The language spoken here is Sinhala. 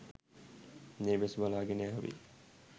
මේ වෙස් වලාගෙන ආවේ.